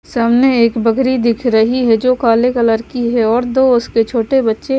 सामने एक बकरी दिख रही है जो काले कलर की है और दो उसके छोटे बच्चे--